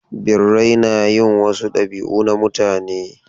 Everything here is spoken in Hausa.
Birrai na yin wasu dabi'u na mutane.